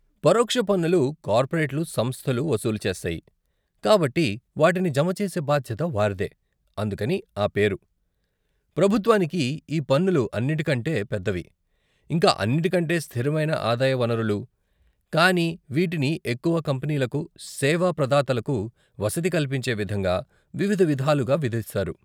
పరోక్ష పన్నులు కార్పొరేట్లు సంస్థలు వసూలు చేస్తాయి కాబట్టి వాటిని జమ చేసే బాధ్యత వారిదే అందుకని ఆ పేరు, ప్రభుత్వానికి ఈ పన్నులు అన్నిటికంటే పెద్దవి, ఇంకా అన్నిటికంటే స్తిరమైన ఆదాయ వనరులు, కానీ వీటిని ఎక్కువ కంపనీలకు, సేవా ప్రదాతలకు వసతి కల్పించే విధంగా, వివిధ విధాలుగా విధిస్తారు.